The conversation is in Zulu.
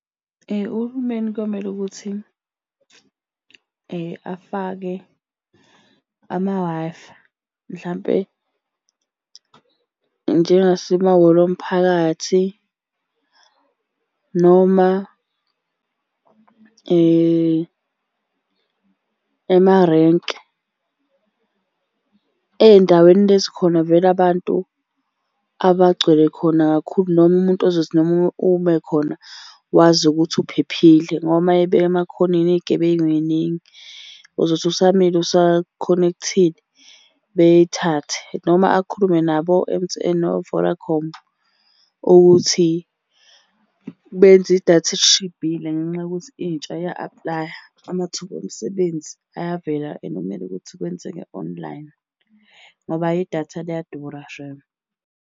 Uhulumeni kuyomele ukuthi afake ama-Wi-Fi mhlampe njengasemahholo omphakathi noma emarenke. Ey'ndaweni lezi khona vele abantu abagcwele khona kakhulu noma umuntu ozothi noma ume khona wazi ukuthi uphephile ngoba uma beyibeka emakhathoneni iy'gebengu y'ningi. Uzothi usamile usakhonekthile, beyithathe, noma akhulume nabo o-M_T_N no-Vodacom ukuthi benze idatha elishibhile ngenxa yokuthi intsha iya-aplaya amathuba omsebenzi ayavela and kumele ukuthi kwenzeke online, ngoba ayi idatha liyadura shame.